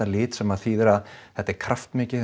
lit sem þýðir að þetta er kraftmikið